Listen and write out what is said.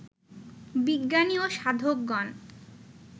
বিজ্ঞানী ও সাধকগণ